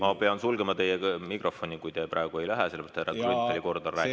Ma pean sulgema teie mikrofoni, kui te praegu ära ei lähe, sest härra Grünthali kord on rääkida.